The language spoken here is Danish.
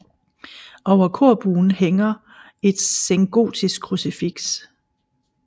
Over korbuen hænger et sengotisk krucifiks